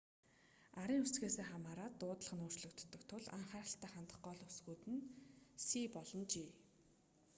арын үсгээсээ хамаараад дуудлага нь өөрчлөгддөг тул анхааралтай хандах гол үсгүүд нь c болон g